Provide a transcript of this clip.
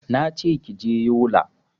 Nace kije yola